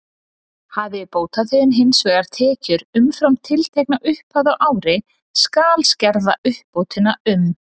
Hafi bótaþeginn hins vegar tekjur umfram tiltekna upphæð á ári, skal skerða uppbótina um